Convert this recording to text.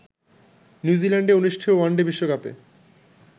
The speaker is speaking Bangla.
নিউ জিল্যান্ডে অনুষ্ঠেয় ওয়ানডে বিশ্বকাপে